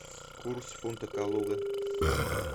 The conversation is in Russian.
курс фунта калуга